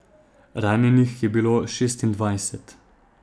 Ranjenih je bilo šestindvajset.